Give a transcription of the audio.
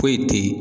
Foyi te ye